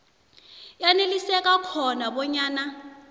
yaneliseka khona bonyana